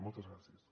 moltes gràcies